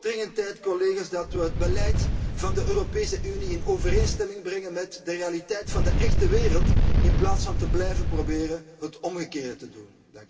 Het wordt dringend tijd collega's dat we het beleid van de Europese Unie in overeenstemming brengen met de realiteit van de echte wereld, in plaats van te blijven proberen het omgekeerde te doen.